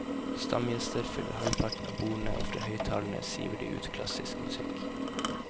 Stamgjester fyller halvparten av bordene og fra høyttalerne siver det ut klassisk musikk.